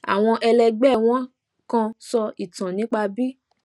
àwọn ẹlẹgbẹ wọn kan sọ ìtàn nípa bí